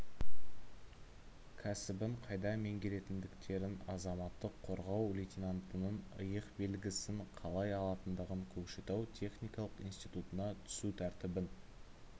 кәсібін қайда меңгеретіндіктерін азаматтық қорғау лейтенантынының иық белгісін қалай алатындығын көкшетау техникалық институтына түсу тәртібін